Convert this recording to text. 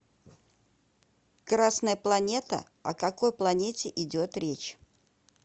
красная планета о какой планете идет речь